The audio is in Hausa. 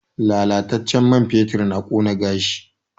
Lallatacen man ferming na ƙona gashi